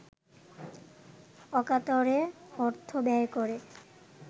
অকাতরে অর্থব্যয় করে